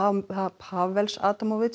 Pawels